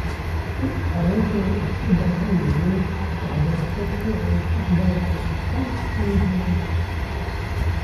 Carruurta waxay u baahan yihiin waxbarasho si ay mustaqbal wanaagsan u helaan.